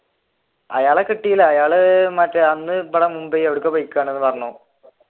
അയാളെ കിട്ടീല അയാൾ മറ്റേ അന്ന് പോയിക്കെയാണ് എന്ന് പറഞ്ഞു.